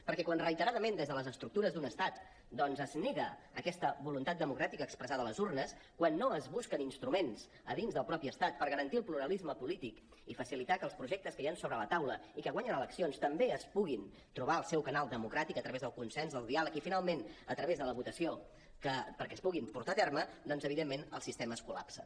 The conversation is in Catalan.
perquè quan reiteradament des de les estructures d’un estat doncs es nega aquesta voluntat democràtica expressada a les urnes quan no es busquen instruments a dins del mateix estat per garantir el pluralisme polític i facilitar que els projectes que hi han sobre la taula i que guanyen eleccions també es puguin trobar en el seu canal democràtic a través del consens del diàleg i finalment a través de la votació perquè es puguin portar a terme doncs evidentment el sistema es col·lapsa